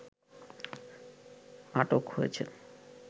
আটক হয়েছেন